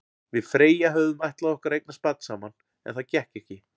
Við Freyja höfðum ætlað okkur að eignast barn saman, en það gekk ekki.